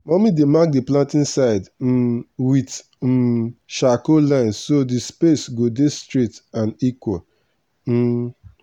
mummy dey mark the planting side um with um charcoal line so the space go dey straight and equal. um